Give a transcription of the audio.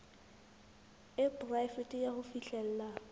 e poraefete ya ho fihlella